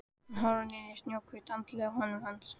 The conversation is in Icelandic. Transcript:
Hún horfir niður í snjóhvítt andlitið í höndum hans.